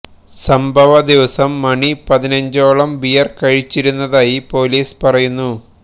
സംഭവ ദിവസം മണി പതിനഞ്ചോളം ബിയര് കഴിച്ചിരുന്നതായി പോലീസ് പറയുന്നു